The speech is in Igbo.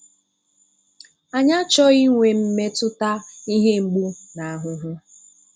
Anyị achọghị inwe mmetụta ihe mgbu na ahụhụ.